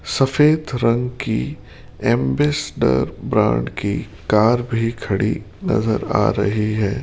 सफेद रंग की एंबेसडर ब्रांड की कार भी खड़ी नजर आ रही है।